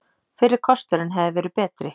Fyrri kosturinn hefði verið betri.